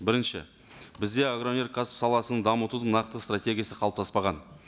бірінші бізде агроөнеркәсіп саласын дамытудың нақты стратегиясы қалыптаспаған